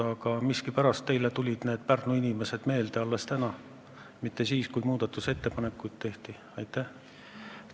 Aga miskipärast tulid need Pärnu inimesed teile meelde alles täna, mitte siis, kui muudatusettepanekute tegemise aeg oli.